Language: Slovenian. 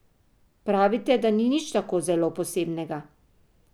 Pravite, da ni nič tako zelo posebnega?